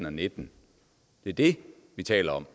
og nitten det er det vi taler om